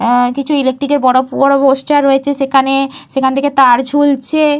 আঃ কিছু ইলেকট্রিক - এর বড় বড় পোস্টার রয়েছে। সেখানে সেখান থেকে তার ঝুলছে।